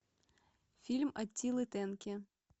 фильм аттилы тенки